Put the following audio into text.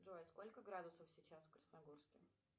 джой сколько градусов сейчас в красногорске